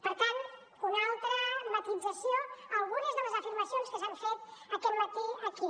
per tant una altra matisació a algunes de les afirmacions que s’han fet aquest matí aquí